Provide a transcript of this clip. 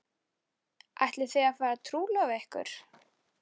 Ætlið þið að fara að trúlofa ykkur?